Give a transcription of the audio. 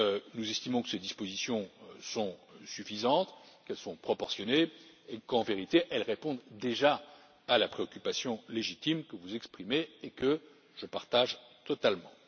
ans. Nous estimons que ces dispositions sont suffisantes, qu'elles sont proportionnées et, en vérité, qu'elles répondent déjà à la préoccupation légitime que vous exprimez et que je partage totalement.